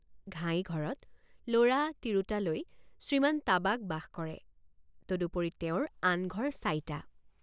ঘাই ঘৰত লৰা তিৰোতা লৈ শ্ৰীমান তাবাক বাস কৰে তদুপৰি তেওঁৰ আন ঘৰ চাইটা।